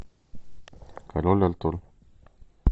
король артур